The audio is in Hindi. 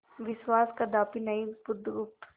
विश्वास कदापि नहीं बुधगुप्त